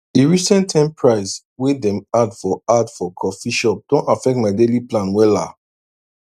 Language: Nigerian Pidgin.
di recent ten price way dem add for add for coffee shop don affect my daily plan wella